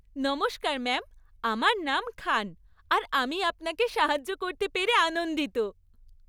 নমস্কার ম্যাম, আমার নাম খান আর আমি আপনাকে সাহায্য করতে পেরে আনন্দিত।